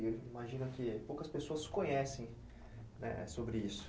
E eu imagino que poucas pessoas conhecem sobre isso.